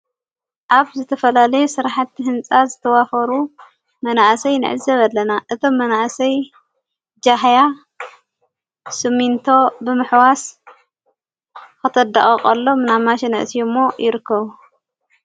ኣብ ዘተፈላለየ ሠራሕቲ ሕንጻ ዝተዋፈሩ መናእሰይ ንዕዘብ ኣለና እቶም መናእሰይ ጃህያ ስምንቶ ብምኅዋስ ኽተዳቐቐሎም ናብ ማሽን ዕስዩ እሞ ይርከብ።